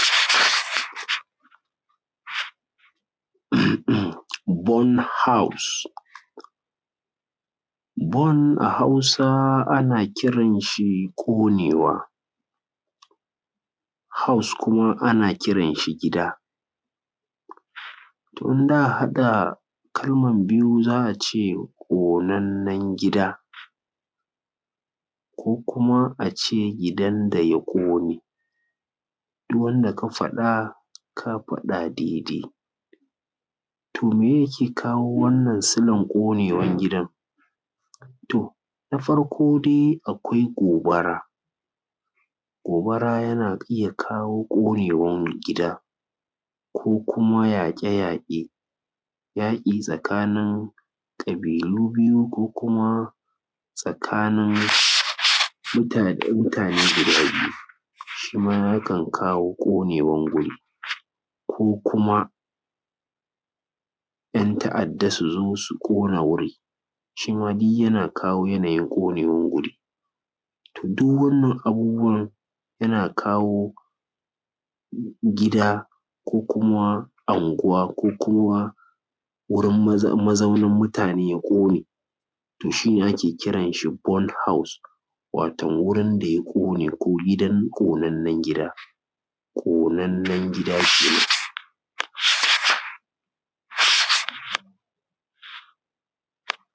Born house, born a hausa ana kiran shi ƙonewa, house kuma ana kiran shi gida. To idan za a haɗa kalman biyu za a ce, ƙonannan gida. Ko kuma a ce gidan da ya ƙone, duk wanda ka faɗa ka faɗa daidai. To me ye yake kawo wannan silan ƙonewan gidan? to na farko dai akwai gobara, gobara yana iya kowo ƙonewan gida. Ko kuma yaƙe-yaƙe, yaƙi tsakani ƙabilu biyu ko kuma tsakanin mutane guda biyu, shi ma yakan kawo ƙonewan wuri. Ko kuma ‘yanta’adda su zo su ƙona wuri, shi ma duk yana kawo yanayin ƙonewan wuri. To duk waɗannan abubuwan yana kawo ƙonewan gida ko kuma ?nguwa ko kuwa wurin mazauna mutane ya ƙone. to shi ne ake kiran shi born house,, wato wurn da ya ƙo ne ko gidan ko ƙonannen gida ƙonewan gida kenan.